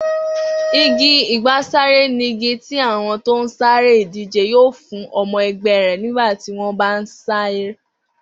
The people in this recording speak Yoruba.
Igi àgbàsáré nigi tí àwo̩n tó ń sáré ìdíje yóò fún o̩mo̩ e̩gbé̩ rè̩ nígbà tí wón bá ń sáré